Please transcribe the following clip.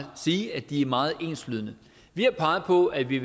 sige at det er meget enslydende vi har peget på at vi